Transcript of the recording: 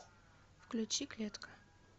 включи клетка